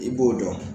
I b'o dɔn